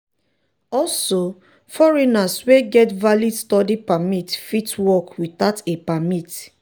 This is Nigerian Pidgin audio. also foreigners wey get valid study permit fit work without a permit.